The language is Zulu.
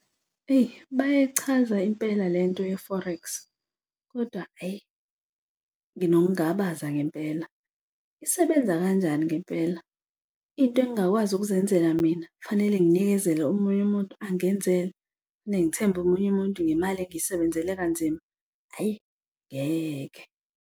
Eyi bayayichaza impela lento ye-forex kodwa ayi nginokungabaza ngempela. Isebenza kanjani ngempela? Into engingakwazi ukuzenzela mina kufanele nginikezele omunye umuntu angenzele, kufanele ngithembe omunye umuntu ngemali engiyisebenzele kanzima. Ayi ngeke.